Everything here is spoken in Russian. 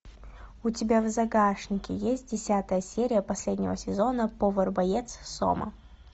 у тебя в загашнике есть десятая серия последнего сезона повар боец сома